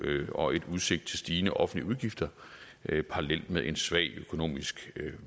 og udsigt til stigende offentlige udgifter parallelt med en svag økonomisk